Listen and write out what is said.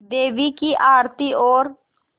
देवी की आरती और